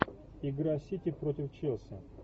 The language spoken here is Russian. игра сити против челси